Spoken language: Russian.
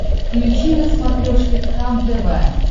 включи на смотрешке кхлм тв